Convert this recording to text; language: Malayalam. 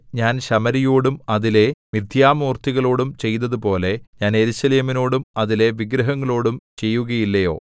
ഞാൻ ശമര്യയോടും അതിലെ മിഥ്യാമൂർത്തികളോടും ചെയ്തതുപോലെ ഞാൻ യെരൂശലേമിനോടും അതിലെ വിഗ്രഹങ്ങളോടും ചെയ്യുകയില്ലയോ